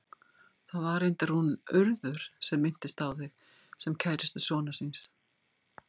Það var reyndar hún Urður sem minntist á þig, sem kærustu sonar síns.